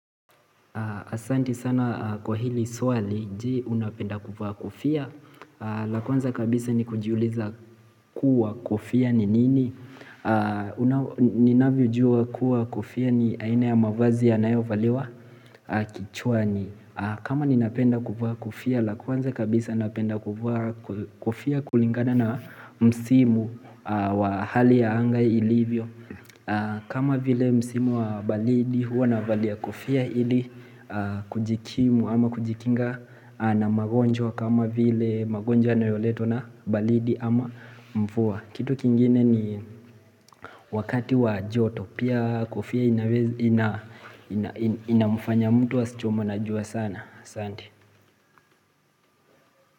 Asanti sana kwa hili swali je unapenda kuvaa kofia la kwanza kabisa ni kujiuliza kuwa kofia ni nini ninavyo jua kuwa kofia ni aina ya mavazi ya nayo valiwa kichwa ni kama ninapenda kuvaa kofia la kwanza kabisa napenda kuvaa kofia kulingana na msimu wa hali ya angai ilivyo kama vile msimu wa balidi huwa navalia kofia ili kujikimu ama kujikinga na magonjwa kama vile magonjwa yanayoletwa na balidi ama mvua Kitu kingine ni wakati wa joto Pia kofia inamfanya mtu asichomwe na jua sana aSante.